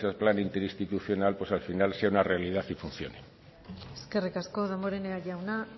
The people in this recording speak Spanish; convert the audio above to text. plan interinstitucional pues al final sea una realidad y funcione eskerrik asko damborenea jauna